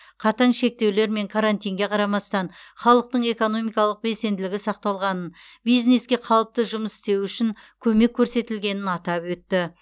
қатаң шектеулер мен карантинге қарамастан халықтың экономикалық белсенділігі сақталғанын бизнеске қалыпты жұмыс істеуі үшін көмек көрсетілгенін атап өтті